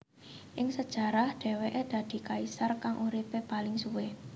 Ing sejarah dheweke dadi kaisar kang uripe paling suwe